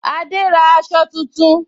Ada ra aṣọ tuntun